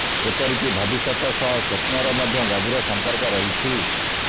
ଏପରିକି ଭବିଷ୍ୟତ ସହ ସ୍ୱପ୍ନର ମଧ୍ୟ ଗଭୀର ସମ୍ପର୍କ ରହିଛି